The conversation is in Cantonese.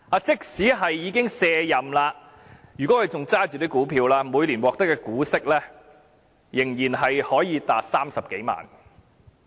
即使他已經卸任，如果他仍持有這些股票，每年所獲得的股息仍可達30多萬元。